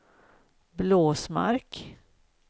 Blåsmark